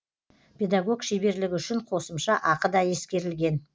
педагог шеберлігі үшін қосымша ақы да ескерілген